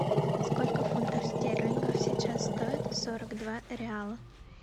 сколько фунтов стерлингов сейчас стоит сорок два реала